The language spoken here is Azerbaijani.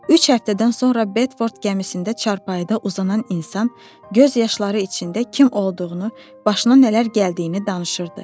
Üç həftədən sonra Bedford gəmisində çarpayıda uzanan insan göz yaşları içində kim olduğunu, başına nələr gəldiyini danışırdı.